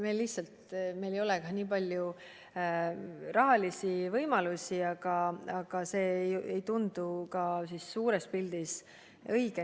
Meil lihtsalt ei ole nii palju rahalisi võimalusi, aga see ei tundu ka suures pildis õige.